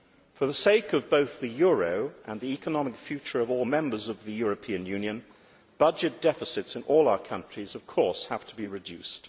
For the sake of both the euro and the economic future of all Members of the European Union, budget deficits in all our countries of course have to be reduced.